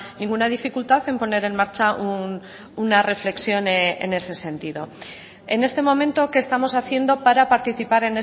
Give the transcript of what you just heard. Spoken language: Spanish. ninguna dificultad en poner en marcha una reflexión en ese sentido en este momento qué estamos haciendo para participar